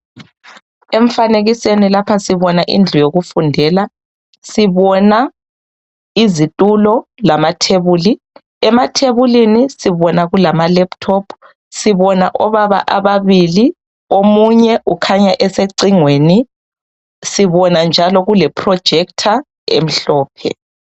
Emfanekisweni lapha sibona indlu yokufundela. Sibona, izitulo, lamathebuli. Emathebulini sibona kulama laptop. Sibona obaba ababili, omunye ukhanya esecingweni. Sibona njalo kule projector, emhlophe.